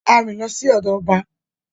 A rìn lọ sí ọ̀dọ̀ ọba